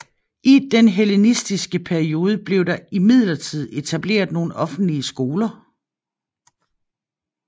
I den hellenistiske periode blev der imidlertid etableret nogle offentlige skoler